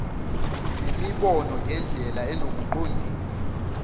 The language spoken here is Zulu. nemibono ngendlela enokuqondisa